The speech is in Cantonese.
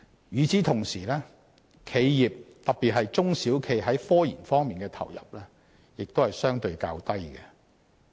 與此同時，企業特別是中小企在科研方面的投入亦相對較低。